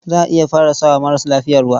Za a iya fara sa wa maras lafiya ruwa.